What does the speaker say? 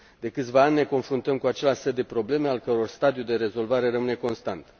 De câțiva ani, ne confruntăm cu același set de probleme, al căror stadiu de rezolvare rămâne constant.